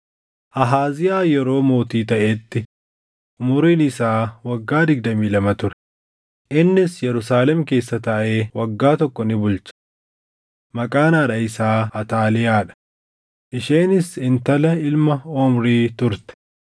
Ahaaziyaa yeroo mootii taʼetti umuriin isaa waggaa digdamii lama ture; innis Yerusaalem keessa taaʼee waggaa tokko ni bulche. Maqaan haadha isaa Ataaliyaa dha; isheenis intala ilma Omrii turte.